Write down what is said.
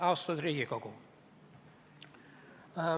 Austatud Riigikogu!